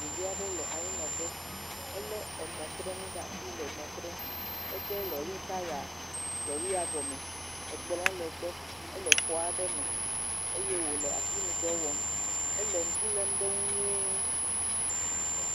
Ɖevi aɖe le anyinɔƒe, elé emɔtrenu ɖe asi le emɔ trem, ede lɔri taya lɔria gɔme, ekplɔ le egbɔ ele xɔ aɖe me eye wole asinudɔ wɔm ele ŋku lém ɖe eŋu nyui.